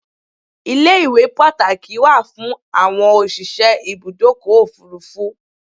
Ilé-iwé Pàtàkì wà fún àwọn òsìse Ibùdọ́kọ̀ òfúrufú